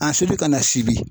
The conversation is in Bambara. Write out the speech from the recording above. A sulu ka na fili.